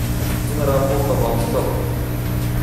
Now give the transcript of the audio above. киноработа волчок